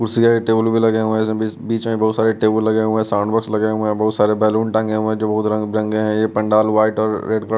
कुर्सी है टेबल भी लगे हुए हैं बीच में बहुत सारे टेबल लगे हुए हैं साउंड बॉक्स लगे हुए हैं बहुत सारे बैलून टांगे हुए हैं जो बहुत रंगे हैं ये पंडाल वाइट और रेड कल --